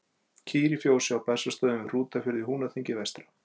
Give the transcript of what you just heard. Kýr í fjósi á Bessastöðum við Hrútafjörð í Húnaþingi vestra.